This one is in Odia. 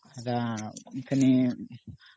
ଅମ୍ଫେ ନି